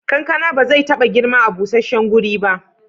Kankana ba zai taba girma a busasshen guri ba.